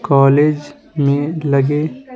college में लगे --